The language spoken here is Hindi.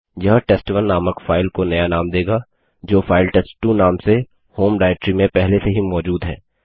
यह टेस्ट1 नामक फाइल को नया नाम देगा जो फाइल टेस्ट2 नाम से होम डाइरेक्टरी में पहले से ही मौजूद है